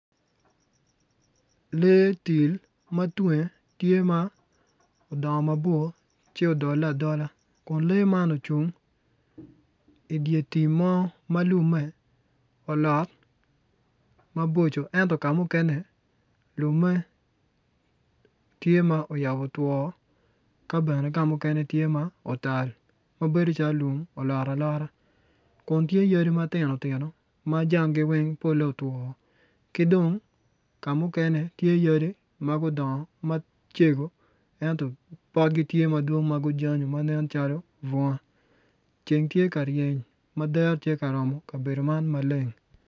Lee til tye ma tunge odongo mabor ci odole adola kun lee man ocung idye tim mo mo ma lumme olot ento ka mukene lumme tye ma oyabo two ka bene ka mukene tye ma otal ma bedo calo lum olot alota kun tye yadi matino tino ma jangi weng polle otwo ki dong ka mukene tye yadi ma gudongo macego ento potgi tye ma gujanyo ma nen calo bunga ceng tye ka ryeny ma dero tye ka romo kabedo man maleng.